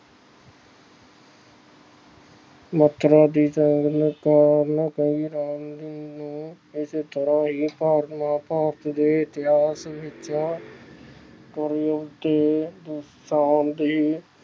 ਸੁਲੱਖਣਾ ਦੀ ਸੰਗਤ ਕਾਰਨ ਕੇਕਈ ਰਾਮ ਜੀ ਨੂੰ ਇਤਿਹਾਸ ਵਿਚੋਂ ਕਲਯੁਗ ਦੀ ਪੈਣ ਦੀ